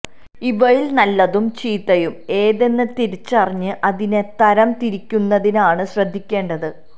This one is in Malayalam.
ഇവയിൽ നല്ലതും ചീത്തയും ഏതെന്ന് തിരിച്ചറിഞ്ഞ് അതിനെ തരം തിരിക്കുന്നതിനാണ് ശ്രദ്ധിക്കേണ്ടത്